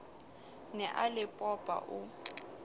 ne a le popa o